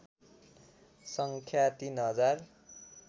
सङख्या ३ हजार